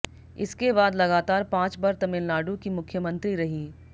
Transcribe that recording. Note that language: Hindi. इसके बाद लगातार पांच बार तमिलनाडु की मुख्यमंत्री रही